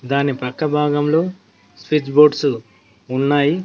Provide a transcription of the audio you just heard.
దాని పక్క భాగంలో స్విచ్ బోర్డ్సు ఉన్నాయి.